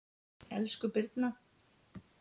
Elsku Birna.